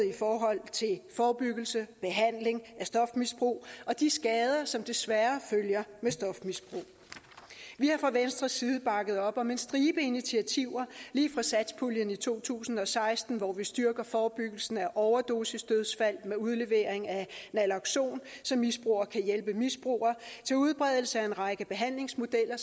i forhold til forebyggelse behandling af stofmisbrug og de skader som desværre følger med stofmisbrug vi har fra venstres side bakket op om en stribe initiativer lige fra satspuljen i to tusind og seksten hvor vi styrker forebyggelsen af overdosisdødsfald med udlevering af nalokson så misbrugere kan hjælpe misbrugere til udbredelse af en række behandlingsmodeller